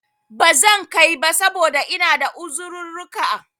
Bazan kai ba, saboda ina da uzirurruka